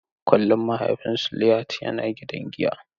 Kullum mahaifin Suliat yana gidan giyan.